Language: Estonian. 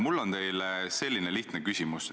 Urmas Kruuse, palun!